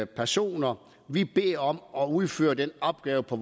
personer vi beder om at udføre denne opgave på